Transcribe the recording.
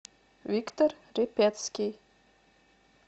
виктор репецкий